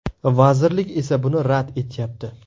Vazirlik esa buni rad etyapti.